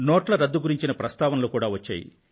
నోట్ల రద్దు గురించిన ప్రస్తావనలు కూడా వచ్చాయి